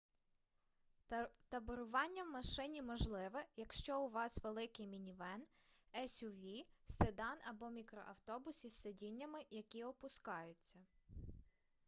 таборування в машині можливе якщо у вас великий мінівен есюві седан або мікроавтобус із сидіннями які опускаються